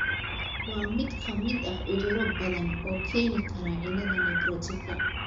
Waa mid ka mid ah cudurro badan oo keeni kara cilada nephrotika.